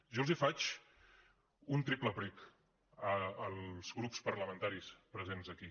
jo els faig un triple prec als grups parlamentaris presents aquí